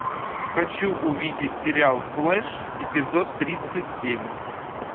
хочу увидеть сериал флэш эпизод тридцать семь